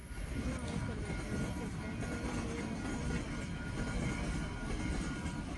mwae kole kimache kwandanyin Neymar Sr kotebi en Barcelona